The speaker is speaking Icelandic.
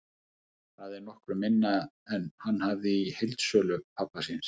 Það er nokkru minna en hann hafði í heildsölu pabba síns.